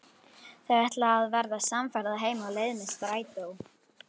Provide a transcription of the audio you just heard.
Þau ætla að verða samferða heim á leið með strætó.